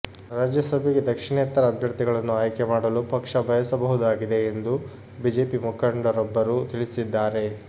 ರಾಜ್ಯಸಭೆಗೆ ದಕ್ಷಿಣೇತರ ಅಭ್ಯರ್ಥಿಗಳನ್ನು ಆಯ್ಕೆ ಮಾಡಲು ಪಕ್ಷ ಬಯಸಬಹುದಾಗಿದೆ ಎಂದು ಬಿಜೆಪಿ ಮುಖಂಡರೊಬ್ಬರು ತಿಳಿಸಿದ್ದಾರೆ